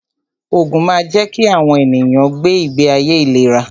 Ògùn máa ń jẹ́ kí àwọn ènìyàn gbé ìgbé ayé ìléra